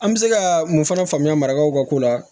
An bɛ se ka mun fana faamuya marakaw ka ko la